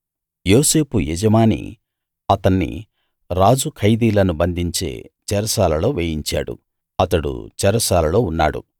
యోసేపు యజమాని అతన్ని రాజు ఖైదీలను బంధించే చెరసాలలో వేయించాడు అతడు చెరసాలలో ఉన్నాడు